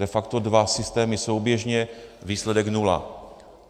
De facto dva systémy souběžně, výsledek nula.